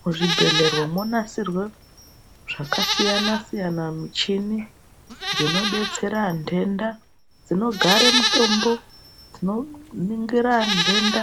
Mu zvibhehlera mo nasirwa zvaka siyana siyana muchini dzino detsera ndenda dzinogare mitombo dzinoningira ndenda